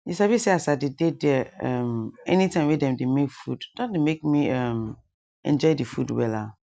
you sabi say as i dey dey there um anytime wey dem dey make food don dey make me um enjoy the food wella